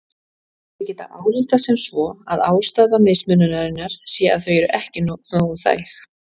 Þau geta ályktað sem svo að ástæða mismununarinnar sé að þau séu ekki nógu þæg.